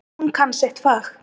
Hún kann sitt fag.